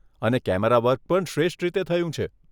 અને કેમેરાવર્ક પણ શ્રેષ્ઠ રીતે થયું છે.